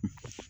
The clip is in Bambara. Unhun